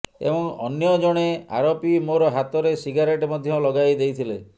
ଏବଂ ଅନ୍ୟ ଜଣେ ଆରୋପି ମୋର ହାତରେ ସିଗାରେଟ ମଧ୍ୟ ଲଗାଈ ଦେଇଥିଲେ